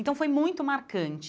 Então foi muito marcante.